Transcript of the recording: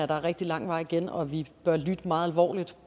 der er rigtig lang vej igen og at vi bør lytte meget alvorligt